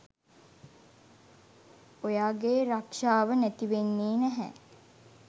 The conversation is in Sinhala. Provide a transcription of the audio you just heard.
ඔයාගේ රක්ෂාව නැතිවෙන්නේ නැහැ